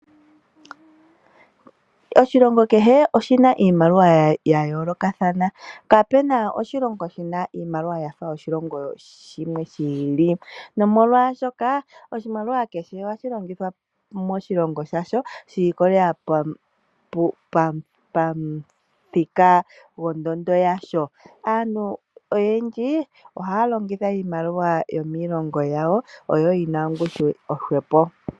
Oshilongo kehe oshina iimaliwa ya yoolokathana, kapena oshilongo shina iimaliwa yafa yoshilongo oshikwawo. Omolwashoka oshimaliwa kehe ohashi longithwa moshilongo shasho shi iko lelela pamuthika gwondondo yasho. Aantu oyendji ohaya longitha iimaliwa yomiilongo yawo oshoka yina ongushu yili hwepo.